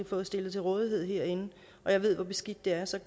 fået stillet til rådighed herinde og jeg ved hvor beskidt der er så